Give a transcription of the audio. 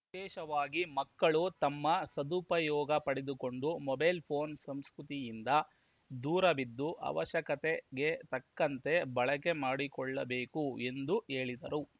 ವಿಶೇಷವಾಗಿ ಮಕ್ಕಳು ತಮ್ಮ ಸದುಪಯೋಗ ಪಡೆದುಕೊಂಡು ಮೊಬೈಲ್‌ ಫೋನ್‌ ಸಂಸ್ಕೃತಿಯಿಂದ ದೂರವಿದ್ದು ಅವಶ್ಯಕತೆಗೆ ತಕ್ಕಂತೆ ಬಳಕೆ ಮಾಡಿಕೊಳ್ಳಬೇಕು ಎಂದು ಹೇಳಿದರು